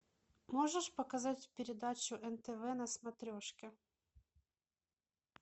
можешь показать передачу нтв на смотрешке